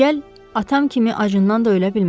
Digəl atam kimi acından da ölə bilmərəm.